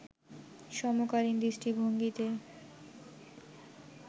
সমকালীন দৃষ্টিভঙ্গি’তে